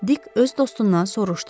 Dik öz dostundan soruşdu.